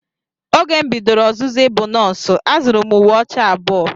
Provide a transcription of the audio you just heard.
Oge m bidoro ọzụzụ ịbụ nọọsụ, azụrụ m uwe ọcha abụọ.